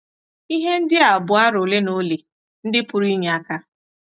Ihe ndị a bụ aro ole na ole ndị pụrụ inye aka.